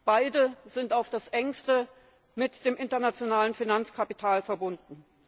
Beide sind auf das Engste mit dem internationalen Finanzkapital verbunden.